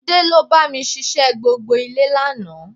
Túndé ló bá mi ṣiṣẹ́ gbogbo ilé lánàá